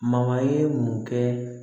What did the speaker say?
ye mun kɛ